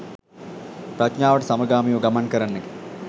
ප්‍රඥාවට සමගාමීව ගමන් කරන්නකි.